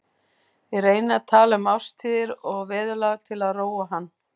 Ég reyni að tala um árstíðir og veðurlag til að róa hann.